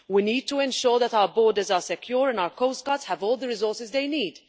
We need to ensure that our borders are secure and our coast guards have all the resources they need.